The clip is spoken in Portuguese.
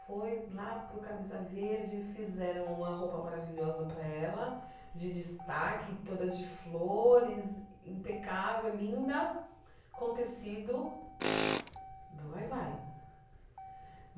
Foi lá para o Camisa Verde, fizeram uma roupa maravilhosa para ela, de destaque, toda de flores, impecável, linda, com tecido do vai-vai.